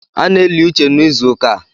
A na-eli uche n’ịzụụka a